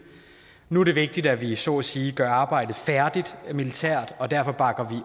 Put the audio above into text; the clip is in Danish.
nu er det vigtigt at vi så at sige gør arbejdet færdigt militært og derfor bakker